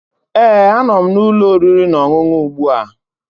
Ee, anọ m na ụlọ oriri na ọṅụṅụ ugbu a